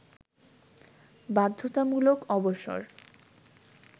বাধ্যতামূলক অবসর